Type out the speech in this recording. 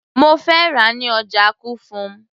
mo fẹ́ rà á ní ọjà kufum